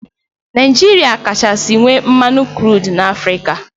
Naijiria kachasị nwee mmanụ krud na Afrịka.